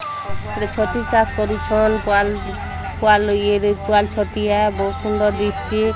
ରେ ଛତୁ ଚାଷ୍ କାରୁଛନ୍ ପାଲ୍-ପାଲ୍ ଇଏରେ ୱାଲ୍ ଛତିଆ ବୋହୂତ୍ ସୁନ୍ଦର୍ ଦିଶ୍ଚି --